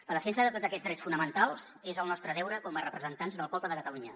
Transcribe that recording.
la defensa de tots aquests drets fonamentals és el nostre deure com a representants del poble de catalunya